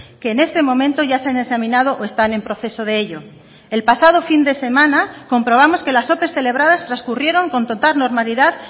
que en este momento ya se han examinado o están en proceso de ello el pasado fin de semana comprobamos que las ope celebradas transcurrieron con total normalidad